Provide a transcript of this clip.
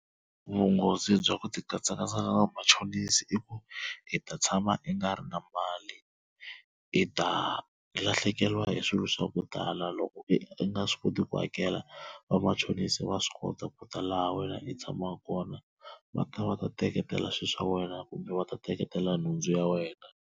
Vunghozi bya ku tikatsakakatsa na vamachonisi i ku i ta tshama i nga ri na mali i ta lahlekeriwa hi swilo swa ku tala loko i nga swi koti ku hakela vamachonisi va swi kota ku ta laha wena i tshamaku kona va ta va ta teketela swilo swa wena kumbe va ta teketela nhundzu ya wena.